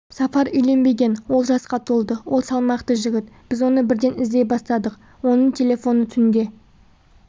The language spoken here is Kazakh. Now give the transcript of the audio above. сафар үйленбеген ол жасқа толды ол салмақты жігіт біз оны бірден іздей бастадық оның телефоны түнде